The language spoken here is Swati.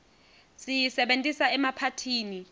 siyisebentisa emaphathini